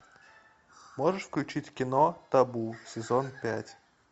можешь включить кино табу сезон пять